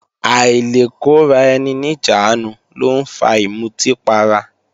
Àìlekóraeni-níjàánu ló ń fa ìmutí para